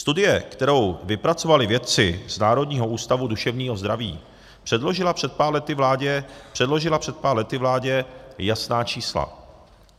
Studie, kterou vypracovali vědci z Národního ústavu duševního zdraví, předložila před pár lety vládě jasná čísla.